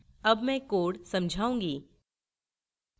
अब मैं code समझाऊँगी